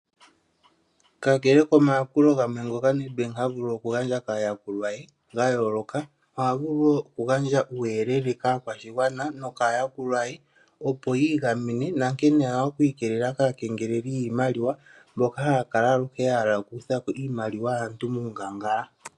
Kakele komayakulo gamwe ngoka Nedbank ha vulu okugandja kaayakulwa ye ye gayooloka, oha vulu wo okugandja uuyelele kaayakulwa ye nokaakwashigwana, opo yi igamene nankene ye na oku ikelelela kaakengeleli yiimaliwa mboka haya kala ya hala okukutha po iimaliwa yaantu muungangala.